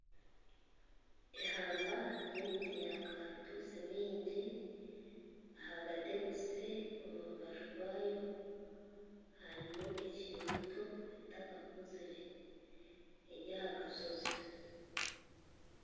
Ihamba ryemiti ya karitutsi mingi ahagati ekuzire omu mbaju yaayo harimu ekiri mito etakakuzire eryahakasozi